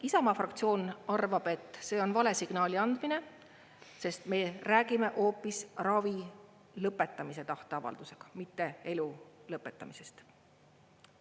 Isamaa fraktsioon arvab, et see on vale signaali andmine, sest me räägime hoopis ravi lõpetamise tahteavaldusega, mitte elu lõpetamisest.